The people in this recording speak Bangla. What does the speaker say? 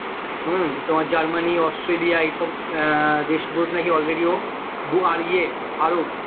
হম তোমার জার্মানি, অস্ট্রেলিয়া এই সব আহ দেশে বলছে নাকি already ও আর ইয়ে আরব